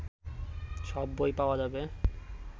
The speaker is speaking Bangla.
সব বই পাওয়া যাবে